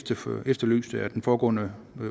efterlyst af den foregående